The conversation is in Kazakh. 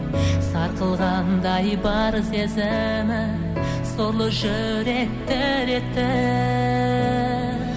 сарқылғандай бар сезімім сорлы жүрек дір етті